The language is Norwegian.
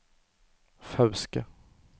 Fauske